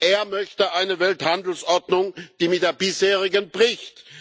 Er möchte eine Welthandelsordnung, die mit der bisherigen bricht.